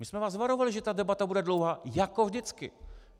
My jsme vás varovali, že ta debata bude dlouhá, jako vždycky.